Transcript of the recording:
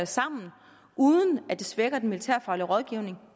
sammen uden at det svækker den militærfaglige rådgivning